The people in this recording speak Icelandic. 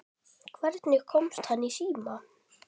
Hvernig hann komst í síma.